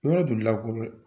Yɔrɔ